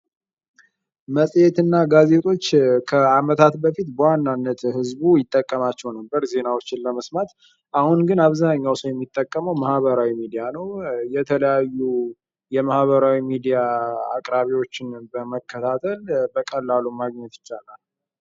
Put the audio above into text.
መጽሔትና ጋዜጦች ከአመታት በፊት በዋናነት ህዝቡ ይጠቀማቸው ነበር ዜናዎችን ለመስማት አሁን ግን አብዛኛው ሰው የሚጠቀመው ማህበራዊ ሚዲያ ነው። የተለያዩ የማህበራዊ ሚዲያ አቅራቢዎችን በመከታተል በቀላሉ ማግኘት ይቻላል።